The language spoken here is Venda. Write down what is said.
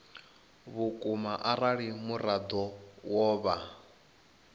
vhukuma arali muraḓo wo vha